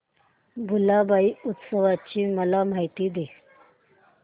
भुलाबाई उत्सवाची मला माहिती दे